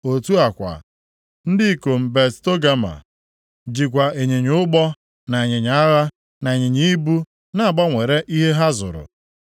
“ ‘Otu a kwa ndị ikom Bet Togama jikwa ịnyịnya ụgbọ, na ịnyịnya agha, na ịnyịnya ibu na-agbanwere + 27:14 Nke a bụ nʼọnọdụ ịkwụ ụgwọ, mgbe ụfọdụ ọ bụrụ na mmadụ ejighị ego, o nwere ike jiri ihe o nwere kwụọ ụgwọ ihe ọ zuru, site nʼụzọ ịgbanwere ihe. ihe ha zụrụ.